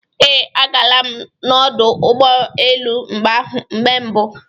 Ee. Agala m n'ọdụ ụgbọ elu mgbe mbụ